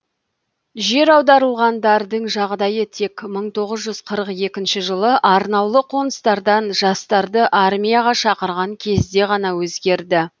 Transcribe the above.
жер аударылғандардың жағдайы тек мың тоғыз жүз қырық екінші жылы арнаулы қоныстардан жастарды армияға шақырған кезде ғана өзгерді